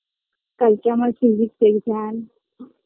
কালকে আমার physics exam